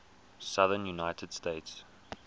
southern united states